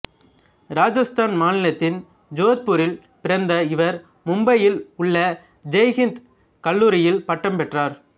ராஜஸ்தான் மாநிலத்தின் ஜோத்புரில் பிறந்த இவர் மும்பையில் உள்ள ஜெய் ஹிந்த் கல்லூரியில் பட்டம் பெற்றார்